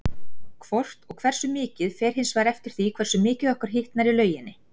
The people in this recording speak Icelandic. Hvort og hversu mikið fer hins vegar eftir því hversu mikið okkur hitnar í lauginni.